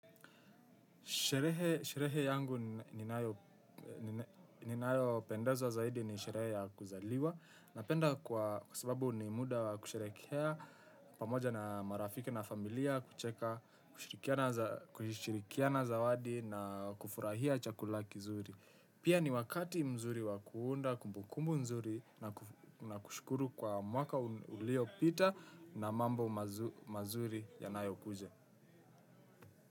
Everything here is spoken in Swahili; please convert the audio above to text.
Sherehe yangu ninayopendezwa zaidi ni sherehe ya kuzaliwa. Napenda kwa sababu ni muda wa kusherehekea pamoja na marafiki na familia. Kucheka, kushirikiana zawadi na kufurahia chakula kizuri. Pia ni wakati mzuri wa kuunda kumbukumu mzuri na kushukuru kwa mwaka uliopita na mambo mazuri yanayokuja.